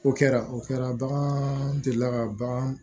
O kɛra o kɛra bagan delila ka bagan